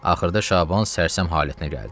Axırda Şaban sərsəm halətinə gəldi.